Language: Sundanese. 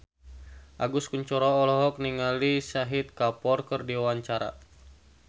Agus Kuncoro olohok ningali Shahid Kapoor keur diwawancara